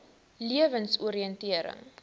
lewensoriëntering